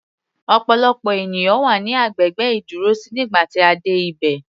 Ọ̀pọ̀lọpọ̀ ènìyàn wà ní agbègbè ìdúrósí nígbà tí a dé ibẹ̀.